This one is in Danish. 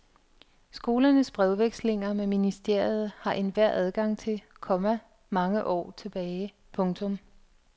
Skolernes brevvekslinger med ministeriet har enhver adgang til, komma mange år tilbage. punktum